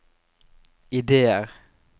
ideer